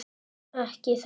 Ekki þess.